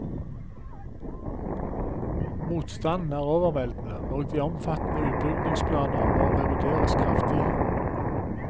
Motstanden er overveldende, og de omfattende utbyggingsplaner må revideres kraftig.